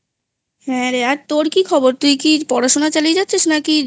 হ্যাঁ রে আর তোর কি খবর? তুই কি পড়াশোনা চালিয়ে যাচ্ছিস নাকি?